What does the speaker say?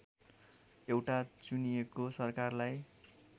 एउटा चुनिएको सरकारलाई